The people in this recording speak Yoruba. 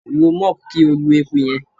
Lo mop ki o lu eku yẹn